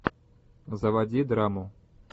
заводи драму